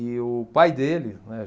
E o pai dele, né?